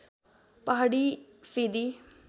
पहाडी फेदी